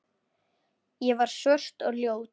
Ég var svört og ljót.